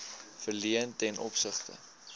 verleen ten opsigte